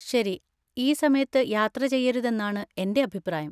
ശരി. ഈ സമയത്ത് യാത്ര ചെയ്യരുതെന്നാണ്എന്‍റെ അഭിപ്രായം.